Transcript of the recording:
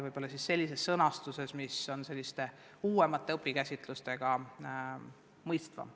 Tuleb vaid leida sõnastus, mis on uuemate õpikäsitluste korral mõistetavam.